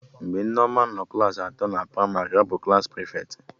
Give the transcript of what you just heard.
Nneoma bụ prịfeti klaasị atọ